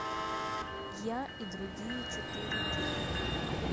я и другие четыре кей